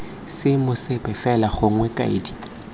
seemo sepe fela gongwe kaedi